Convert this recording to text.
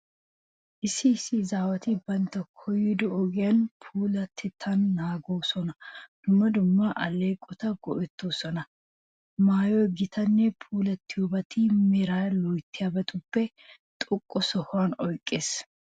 Issi issi izaawati bantta koyyido ogiyan puulattettaa naaganawu dumma dumma alleeqota go"ettoosona. Maayoy gittaynne puulaxxiyobati meraa loyttiyabatuppe xoqqa sohuwa oyqqiyageeta.